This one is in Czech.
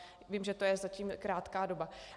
Vím, že to je zatím krátká doba.